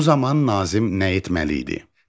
Bu zaman Nazim nə etməli idi?